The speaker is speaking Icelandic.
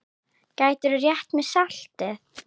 Gætirðu rétt mér saltið?